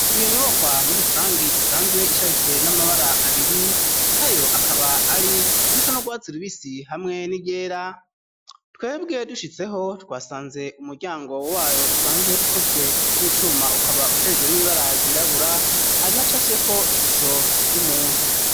Iyo nyubakwa muri rusangi isanzwe isharijwe n'amabara abiri nayo akaba ari irisa n'urwatsi rubisi hamwe n'iryera twebwe dushitseho twasanze umuryango wayo usanzwe ukozwe n'icuma ukaba usharijwe n'ibibara ryirabura hari hacafyeko ishusho y'umuntu